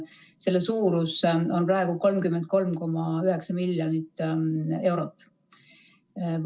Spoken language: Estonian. Selle suurus on praegu 33,9 miljonit eurot.